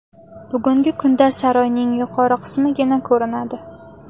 Bugungi kunda saroyning yuqori qismigina ko‘rinadi.